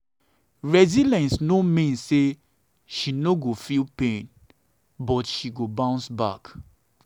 resilience no mean say she no say she no go feel pain but she go bounce back.